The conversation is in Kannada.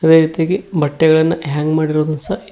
ಅದೇ ರೀತಿಯಾಗಿ ಬಟ್ಟೆಗಳನ್ನು ಹ್ಯಾಂಗ ಮಾಡಿರೋದು ಸ--